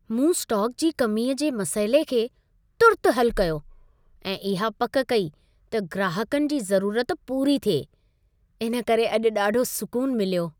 मूं स्टॉक जी कमीअ जे मसइले खे तुर्तु हलु कयो ऐं इहा पक कई त ग्राहकनि जी ज़रूरत पूरी थिए। इन करे अॼु ॾाढो सूकुनु मिलियो।